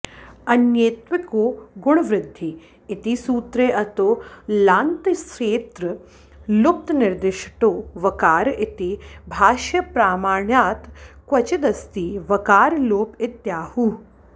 अन्येत्विको गुणवृद्धी इति सूत्रे अतो लान्तस्येत्त्र लुप्तनिर्दिष्टो वकार इति भाष्यप्रामाण्यात् क्वचिदस्ति वकारलोप इत्याहुः